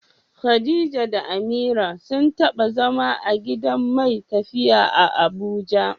Khadija da Amira sun taba zama a gidan mai tafiya a Abuja.